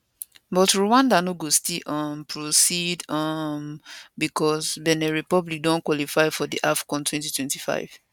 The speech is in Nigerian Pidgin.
but rwanda no go still um proceed um becos benin republic don qualify for di afcon 2025